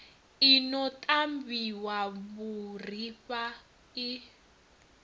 i no ṱavhiwa vhuriha i